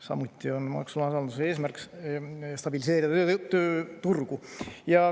Samuti on maksualanduse eesmärk stabiliseerida tööturgu.